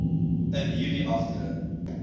in hierdie afdeling